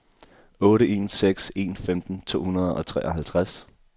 otte en seks en femten to hundrede og treoghalvtreds